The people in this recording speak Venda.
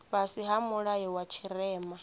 fhasi ha mulayo wa tshirema